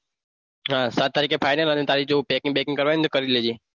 હા સાત તારીખે final અને તારી જો packing કરવાની હોય તો કરી લેજે.